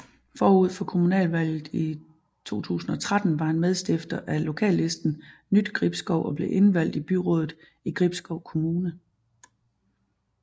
Forud for kommunalvalget i 2013 var han medstifter af lokallisten Nytgribskov og blev indvalgt i byrådet i Gribskov Kommune